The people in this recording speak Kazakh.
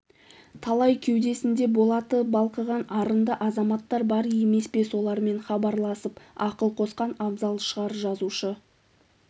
талай кеудесінде болаты балқыған арынды азаматтар бар емес пе солармен хабарласып ақыл қосқан абзал шығар жазушы